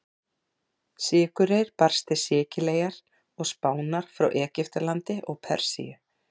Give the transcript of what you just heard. Sykurreyr barst til Sikileyjar og Spánar frá Egyptalandi og Persíu.